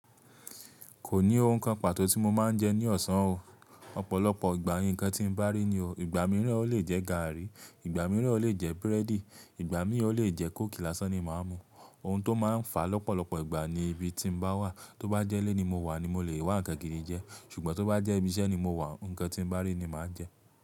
Kò ní ohun kan pàtó tí mo máa ń jẹ ní ọ̀sán o. Ọ̀pọ̀lọpọ̀ ìgbà ń kí n tí ń bá rí ni o. Ìgbà mìíràn o lè jẹ gààrí, ìgbà mìíràn o lè jẹ búrẹ́dì, ìgbà mi o lè jẹ kóòkì lásán ni màá mu. Ohun tó máa ń fà lọ́pọ̀lọpọ̀ ìgbà ni ibi tí mo bá wà. Tóbá jẹ́ ilé ni mo wà ni mo lè wà nkan gidi jẹ, ṣùgbọ́n tó bá jẹ́ ibi iṣẹ́ ni mo wà, ǹkan tí ń bá rí ni màá jẹ.